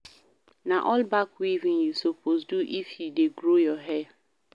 Na all-back weaving you suppose do if you dey grow your hair.